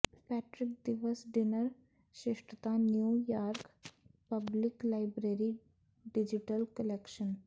Patrick ਦਿਵਸ dinner ਸ਼ਿਸ਼ਟਤਾ New York public library digital collection